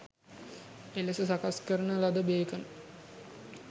එලෙස සකස් කරන ලද බේකන්